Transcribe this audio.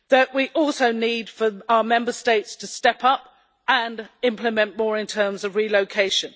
We also need our Member States to step up and implement more in terms of relocation.